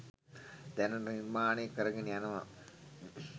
දැනට නිර්මාණ කරගෙන යනවා